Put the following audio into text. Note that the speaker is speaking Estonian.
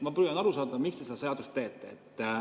Ma püüan aru saada, miks te seda seadust teete.